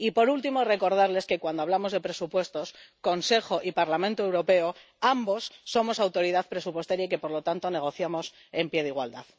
Y, por último, quiero recordarles que, cuando hablamos de presupuestos, Consejo y Parlamento Europeo —ambos— somos Autoridad Presupuestaria y que, por lo tanto, negociamos en pie de igualdad.